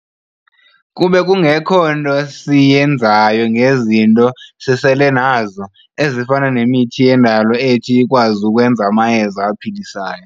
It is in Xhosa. kube kungekho nto siyenzayo ngezi izinto sisele nazo, ezifana nemithini yendalo ethi ikwazi ukwenza amayeza aphilisayo.